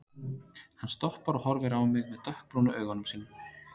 Hann stoppar og horfir á mig með dökkbrúnu augunum sínum.